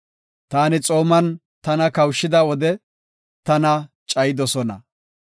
Taani xooman tana kawushida wode, tana cayidosona.